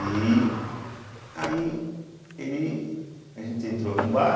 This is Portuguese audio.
E aí, ele a gente entrou num bar,